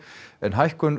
en hækkun